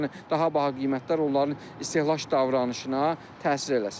Yəni daha baha qiymətlər onların istehlak davranışına təsir eləsin.